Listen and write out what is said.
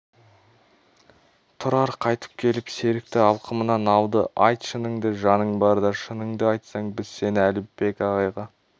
тұрар қайтып келіп серікті алқымынан алды айт шыныңды жаның барда шыныңды айтсаң біз сені әліпбек ағайға